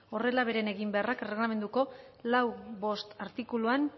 horrela beren eginbeharrak erregelamenduko lau puntu bost artikuluan